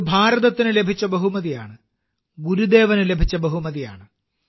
ഇത് ഭാരതത്തിന് ലഭിച്ച ബഹുമതിയാണ് ഗുരുദേവന് ലഭിച്ച ബഹുമതിയാണ്